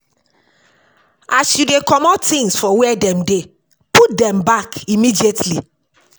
As you dey comot things for where dem dey, put dem back immediately